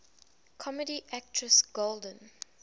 comedy actress golden